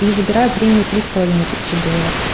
и забираю премию три с половиной тысячи долларов